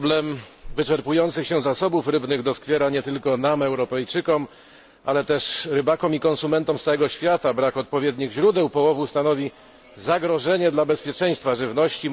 Problem wyczerpujących się zasobów rybnych doskwiera nie tylko nam Europejczykom, ale też rybakom i konsumentom z całego świata. Brak odpowiednich źródeł połowów stanowi zagrożenie dla bezpieczeństwa żywności.